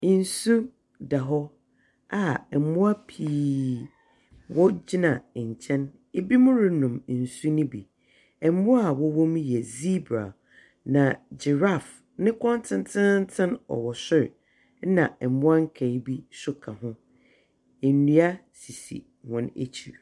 Nsu da hɔ a mmoa pii wɔn gyina nkyɛn. Ɛbinom renom nsuo no bi. Ɛmmoa a wɔn wɔ mu ne sibra na gyiraf ne kɔn tententen ɛwɔ soro na mmoa nkaeɛ bi nso ka ho. Nnua sisi wɔn akyi.